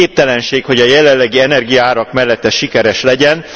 Képtelenség, hogy a jelenlegi energiaárak mellett ez sikeres legyen.